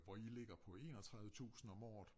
Og i ligger på 31 tusinde om året